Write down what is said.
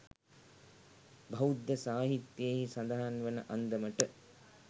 බෞද්ධ සාහිත්‍යයෙහි සඳහන් වන අන්දමට